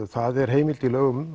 það er heimild